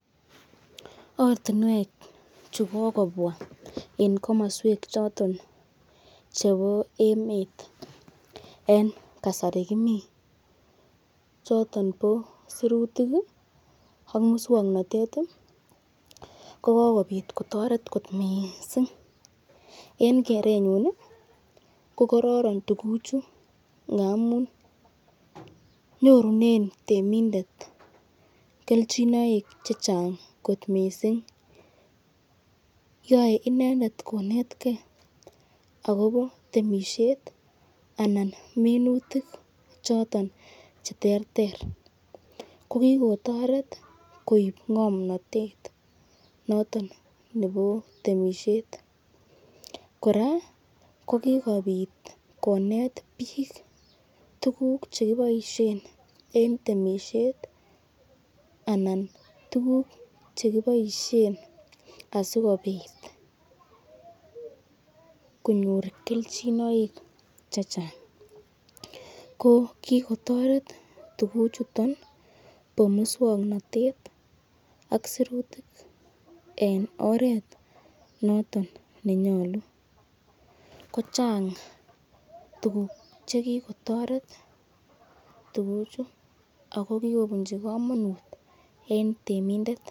Ortinwek chu kogobwa en komoswek choton chebo emet en kasari kimi choton bo sirutik ak muswokanatet ko kogobit kotoret kot mising en kerenyun ko kororon tuguchu ngamun nyorunen temindet kelchinoik chechang kot mising yoe inendet konetkei agobo temisiiet anan minutik choton che ter ter ko kigotoret koib ng'omnatet noton nebo temisiet. Kora ko kigobit konet biik tuguk che kiboisien en temisiet anan tuguk che kiboisien asikobit konyor kelchinoik chechang. Ko kigotoret tuguchuto bo muswoknatet ak sirutik en oret noton nenyolu. Ko chang tuguk che kigotoret tuguchu ago kigobunchi komonut en temindet.